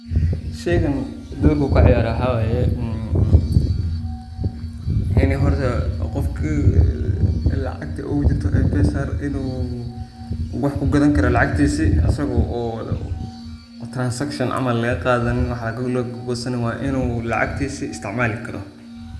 Inii horta qofka mpesa lacagta ogujirta in uu wax kugadani karo lacagtisi asago wax transaction ah lagagosaneyni, wa in uu lacagtisa isticmali karo.